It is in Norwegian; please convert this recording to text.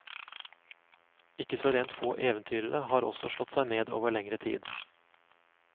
Ikke så rent få eventyrere har også slått seg ned over lengre tid.